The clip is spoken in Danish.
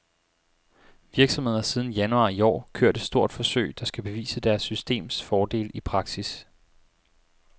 Virksomheden har siden januar i år kørt et stort forsøg, der skal bevise deres systems fordele i praksis.